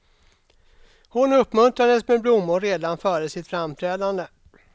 Hon uppmuntrades med blommor redan före sitt framträdande.